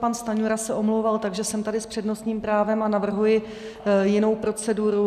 Pan Stanjura se omlouval, takže jsem tady s přednostním právem a navrhuji jinou proceduru.